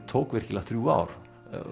tók virkilega þrjú ár